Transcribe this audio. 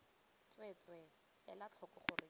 tsweetswee ela tlhoko gore ke